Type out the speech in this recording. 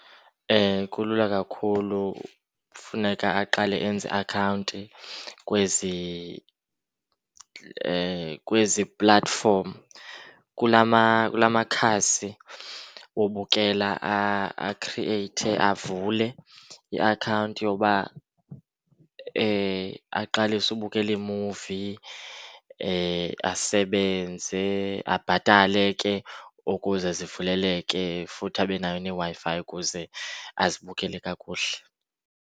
Kulula kakhulu. Funeka aqale enze iakhawunti kwezi, kwezi platforms , kula makhasi wobukela. Akhrieyithe, avule iakhawunti yoba aqalise ubukela iimuvi, asebenze, abhatale ke ukuze zivuleleke futhi abe nayo neWi-Fi ukuze azibukele kakuhle.